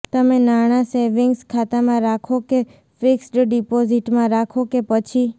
તમે નાણાં સૅવિંગ્સ ખાતામાં રાખો કે ફિક્સ્ડ ડિપોઝિટમાં રાખો કે પછી